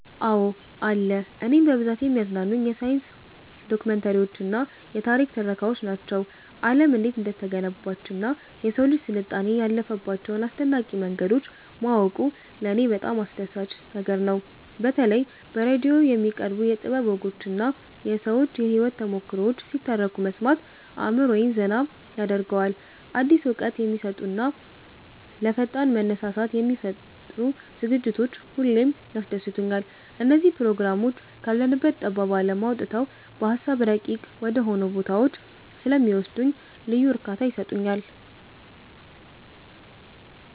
አዎ አለ። እኔን በብዛት የሚያዝናኑኝ የሳይንስ ዶክመንተሪዎችና የታሪክ ትረካዎች ናቸው። ዓለም እንዴት እንደተገነባችና የሰው ልጅ ስልጣኔ ያለፈባቸውን አስደናቂ መንገዶች ማወቁ ለኔ በጣም አስደሳች ነገር ነው። በተለይ በራዲዮ የሚቀርቡ የጥበብ ወጎችና የሰዎች የህይወት ተሞክሮዎች ሲተረኩ መስማት አእምሮዬን ዘና ያደርገዋል። አዲስ እውቀት የሚሰጡና ለፈጠራ መነሳሳትን የሚፈጥሩ ዝግጅቶች ሁሌም ያስደስቱኛል። እነዚህ ፕሮግራሞች ካለንበት ጠባብ ዓለም አውጥተው በሃሳብ ረቂቅ ወደሆኑ ቦታዎች ስለሚወስዱኝ ልዩ እርካታ ይሰጡኛል።